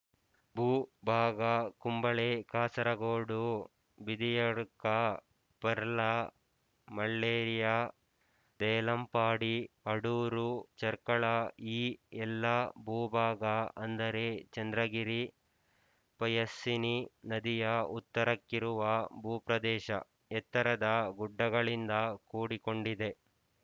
ಭೂ ಭಾಗ ಕುಂಬಳೆ ಕಾಸರಗೋಡು ಬಿದಿಯಡ್ಕ ಪೆರ್ಲ ಮಳ್ಳೇರಿಯಾ ದೇಲಂಪಾಡಿ ಅಡೂರು ಚೆರ್ಕಳ ಈ ಎಲ್ಲಾ ಭೂಭಾಗ ಅಂದರೆ ಚಂದ್ರಗಿರಿಪಯಸ್ವಿನಿ ನದಿಯ ಉತ್ತರಕ್ಕಿರುವ ಭೂಪ್ರದೇಶ ಎತ್ತರದ ಗುಡ್ಡಗಳಿಂದ ಕೂಡಿಕೊಂಡಿದೆ